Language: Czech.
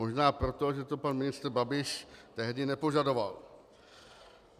Možná proto, že to pan ministr Babiš tehdy nepožadoval.